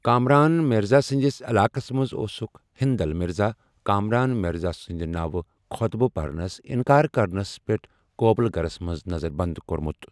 کامران مرزا سٕنٛدِس علاقس منٛز اوسٗكھ ہندل مرزا، کامران مرزا سٕنٛدِ ناوٕ خۄطبہٕ پرنس انكار كرنس پیٹھ ، كوبٗلہٕ گھرس منز نظر بنٛد کورمُت۔